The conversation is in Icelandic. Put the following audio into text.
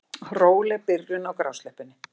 Róleg byrjun á grásleppunni